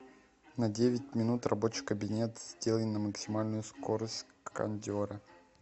на девять минут рабочий кабинет сделай на максимальную скорость кондера